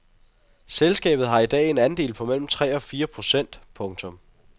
Selskabet har i dag en andel på mellem tre og fire procent. punktum